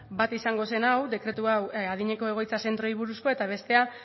bat izango zen hau dekretu hau adineko egoitza zentroei buruzkoa eta bestea